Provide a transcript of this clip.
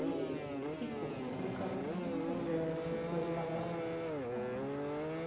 E ficou, nunca não mudamos, ficou essa data. tá